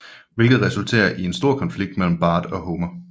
Hvilket resulterer i en stor konflikt mellem Bart og Homer